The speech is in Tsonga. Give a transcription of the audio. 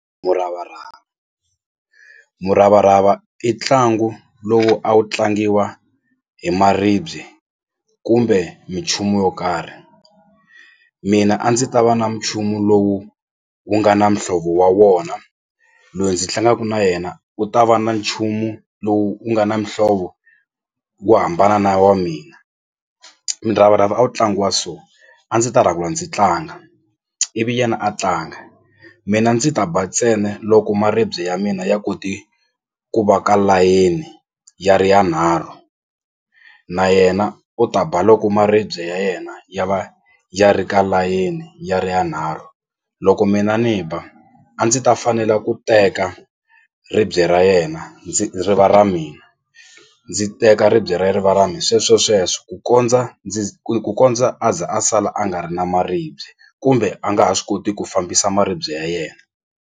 Muravarava, muravarava i ntlangu lowu a wu tlangiwa hi maribye kumbe minchumu yo karhi mina a ndzi ta va na munchumu lowu wu nga na muhlovo wa wona loyi ndzi tlangaku na yena u ta va na nchumu lowu wu nga na muhlovo wo hambana na wa mina. Miravarava a wu tlangiwa so a ndzi ta rhanga ndzi tlanga ivi yena a tlanga mina ndzi ta ba ntsena loko maribye ya mina ya koti ku va ka layeni ya ri yanharhu na yena u ta ba loko maribye ya yena ya va ya ri ka layeni ya ri yanharhu loko mina ni ba a ndzi ta fanela ku teka ribye ra yena ndzi ri va ra mina ndzi teka ribye ra ye ri va ra mina sweswo sweswo ku kondza ndzi ku kondza a za a sala a nga ri na maribye kumbe a nga ha swi koti ku fambisa maribye ya yena.